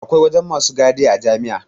Akwai wajen masu gadia jami'a